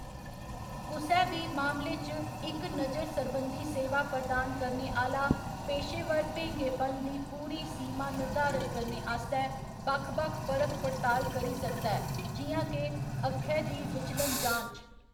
कुसै बी मामले च, इक नजर सरबंधी सेवा प्रदान करने आह्‌‌‌ला पेशेवर भेंगेपन दी पूरी सीमा निर्धारत करने आस्तै बक्ख बक्ख परख पड़ताल करी सकदा ऐ, जि'यां के अक्खै दी विचलन जांच।